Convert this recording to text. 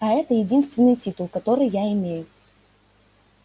а это единственный титул который я имею